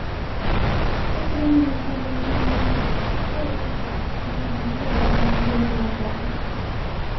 все с унынием ожидали решения своей участи все охали от дороговизны которая в самом деле была ужасна